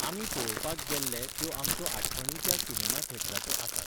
आमी पळोवपाक गेल्ले त्यो आमच्यो आठवणी त्या सिनेमा थेटराच्यो आसात